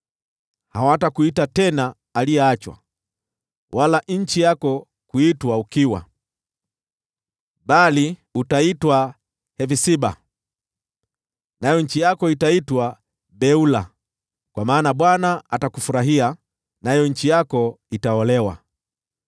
Hawatakuita tena Aliyeachwa, wala nchi yako kuiita Ukiwa. Bali utaitwa Hefsiba, nayo nchi yako itaitwa Beula, kwa maana Bwana atakufurahia, nayo nchi yako itaolewa.